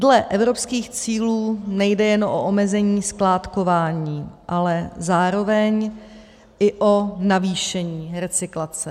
Dle evropských cílů nejde jen o omezení skládkování, ale zároveň i o navýšení recyklace.